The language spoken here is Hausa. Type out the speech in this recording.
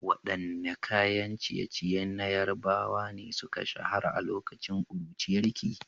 Waɗanne kayan ciye-ciye na Yarbawa ne suka shahara a lokacin ƙuruciyarki?